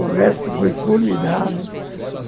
O resto foi formidável.